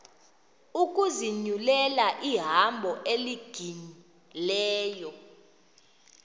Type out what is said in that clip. ukuzinyulela ihambo elungileyo